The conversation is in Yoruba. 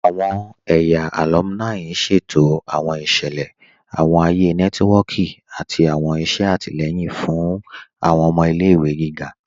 Awọn ẹ̀yà alùmíní ṣẹ̀tò awọn iṣẹlẹ, awọn ayé nẹtìwọ̀kì, àti awọn iṣẹ̀ àtílẹ̀yìn fún awọn ọmọ ilẹ̀-ìwé gígá.